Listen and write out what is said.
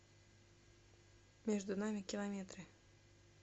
между нами километры